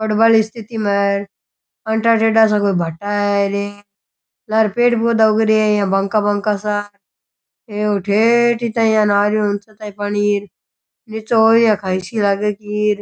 हड़बल स्थिति में आंटा टेडा सा कोई भाटा है र लारे पेड़ पौधा सा उग रहिया है बांका बांका सा हे ठेठ ता ही अन आ रहियो ऊँचा ता ही पानी र नीचे और खाई सी लागे की र।